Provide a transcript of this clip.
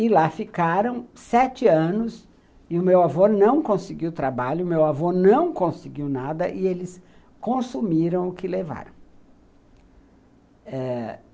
E lá ficaram sete anos, e o meu avô não conseguiu trabalho, o meu avô não conseguiu nada, e eles consumiram o que levaram.